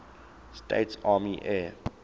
states army air